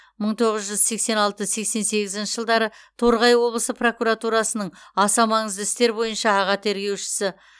мың тоғыз жүз сексен алты сексен сегізінші жылдары торғай облысы прокуратурасының аса маңызды істер бойынша аға тергеуші